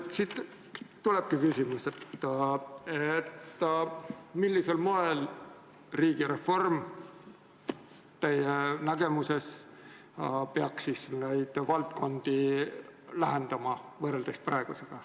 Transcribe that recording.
Siit tulebki küsimus, millisel moel riigireform teie nägemuses peaks neid valdkondi lähendama võrreldes praegusega.